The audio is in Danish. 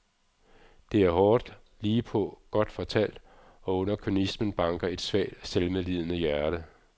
Det er hårdt, ligepå, godt fortalt og under kynismen banker et svagt selvmedlidende hjerte.